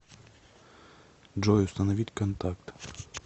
джой установить контакт